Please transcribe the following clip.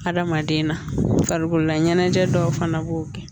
Adamaden na farikololaɲɛnajɛ dɔw fana b'o kɛ